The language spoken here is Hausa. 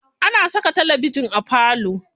Ana saka talabijin a falo.